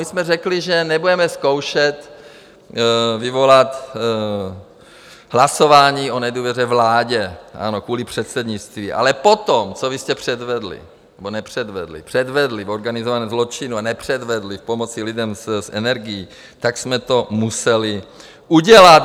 My jsme řekli, že nebudeme zkoušet vyvolat hlasování o nedůvěře vládě kvůli předsednictví, ale potom, co vy jste předvedli nebo nepředvedli, předvedli v organizovaném zločinu a nepředvedli v pomoci lidem s energií, tak jsme to museli udělat.